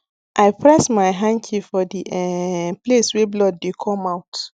i press my hanky for the um place wey blood dey come out